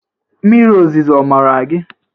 Mmiri ozuzo ọ mara gị?